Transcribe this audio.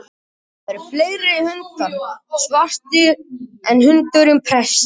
Það eru fleiri hundar svartir en hundurinn prestsins.